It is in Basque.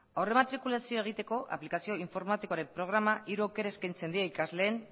aurrematrikulazioa egiteko aplikazio informatikoaren programak hiru aukera eskaintzen die ikasleen